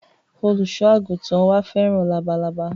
Olùsọ àgùntàn wa fẹ́ràn labalábá